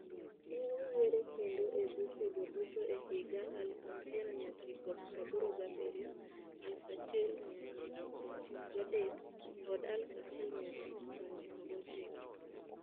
Ne oyiere kendo e buchego duto e higa 1987, 1993, kod 1999.